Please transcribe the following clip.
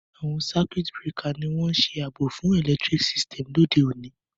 Àwon circuit breaker ni oun àbò fun electric system òde ọ̀ní